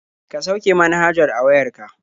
Ka sauke manhajar a wayar ka.